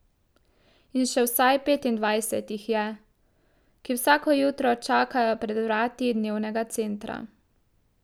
In še vsaj petindvajset jih je, ki vsako jutro čakajo pred vrati dnevnega centra.